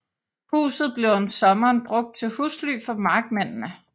Huset blev om sommeren brugt til husly for markmændene